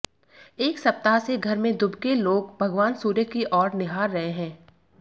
एक सप्ताह से घर में दुबके लोग भगवान सूर्य की ओर निहार रहे हैं